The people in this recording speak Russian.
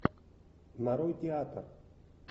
нарой театр